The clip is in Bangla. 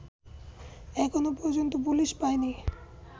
এখনো পর্যন্ত পুলিশ পায়নি